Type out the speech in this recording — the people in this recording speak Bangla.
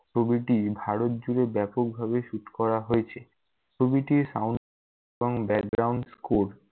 ছবিটি ভারত জুড়ে ব্যাপকভাবে shoot করা হয়েছে । ছবিটির sound এবং score